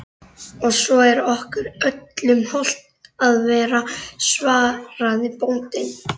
Og svo er okkur öllum hollt að vera, svaraði bóndinn.